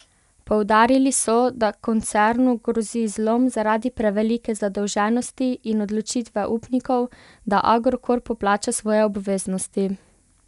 Poudarili so, da koncernu grozi zlom zaradi prevelike zadolženosti in odločitve upnikov, da Agrokor poplača svoje obveznosti.